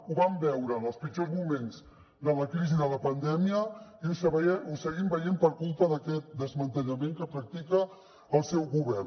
ho vam veure en els pitjors moments de la crisi de la pandèmia i ho seguim veient per culpa d’aquest desmantellament que practica el seu govern